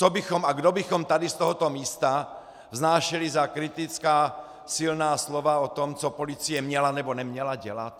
Co bychom a kdo bychom tady z tohoto místa vznášeli za kritická silná slova o tom, co policie měla nebo neměla dělat?